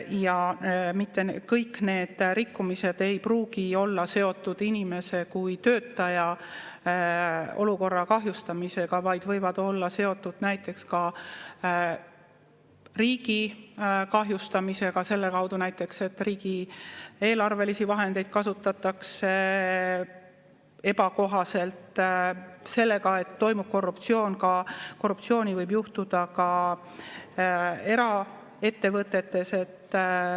Ja mitte kõik need rikkumised ei pruugi olla seotud inimese kui töötaja olukorra kahjustamisega, vaid need võivad olla seotud näiteks ka riigi kahjustamisega, selle kaudu näiteks, et riigieelarvelisi vahendeid kasutatakse ebakohaselt, sellega, et toimub korruptsioon, korruptsiooni võib ette tulla ka eraettevõtetes.